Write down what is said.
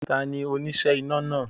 Tani oníṣẹ́ iná náà